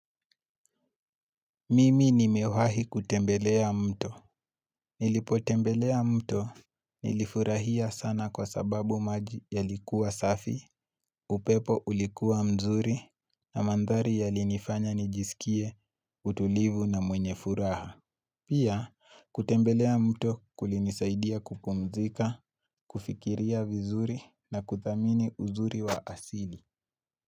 Mimi nimewahi kutembelea mto. Nilipo tembelea mto nilifurahia sana kwa sababu maji yalikuwa safi, upepo ulikuwa mzuri na mandhari ya linifanya nijisikie utulivu na mwenye furaha. Pia kutembelea mto kulinisaidia kupumzika, kufikiria vizuri na kuthamini uzuri wa asili.